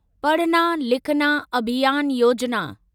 पढना लिखना अभियान योजिना